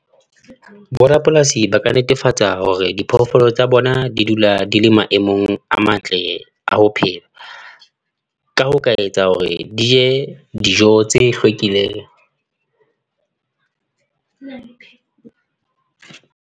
Borapolasi ba ka netefatsa hore diphoofolo tsa bona di dula di le maemong a matle a ho phela. Ka ho ka etsa hore di je dijo tse hlwekileng.